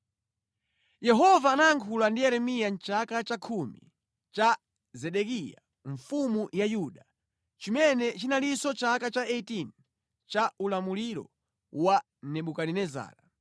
Yehova anayankhula ndi Yeremiya mʼchaka chakhumi cha Zedekiya mfumu ya Yuda, chimene chinalinso chaka cha 18 cha ulamuliro wa Nebukadinezara.